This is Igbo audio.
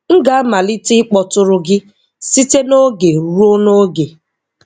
M ga-amalite ịkpotụrụ gi site n'oge ruo n'oge.